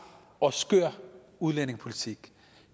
og skør udlændingepolitik